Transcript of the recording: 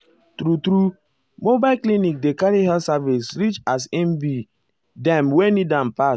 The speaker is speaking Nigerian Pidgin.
true-true mobile clinic dey carry health service reachas e be dem wey need am pass.